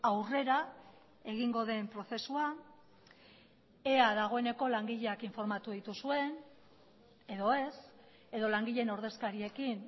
aurrera egingo den prozesua ea dagoeneko langileak informatu dituzuen edo ez edo langileen ordezkariekin